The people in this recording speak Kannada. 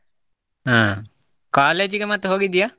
ಹ college ಗೆ ಮತ್ತೆ ಹೋಗಿದ್ಯಾ?